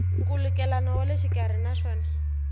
nkhulukelano wa le xikarhi naswona